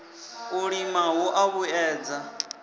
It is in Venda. u lima hu a vhuedza